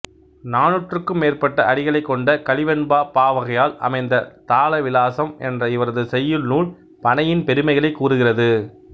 நானூற்றுக்கும் மேற்பட்ட அடிகளைக் கொண்ட கலிவெண்பாப் பாவகையால் அமைந்த தாலவிலாசம் என்ற இவரது செய்யுள் நூல் பனையின் பெருமைகளைக் கூறுகிறது